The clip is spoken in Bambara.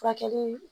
Furakɛli